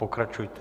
Pokračujte.